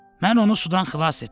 Mən onu sudan xilas etdim.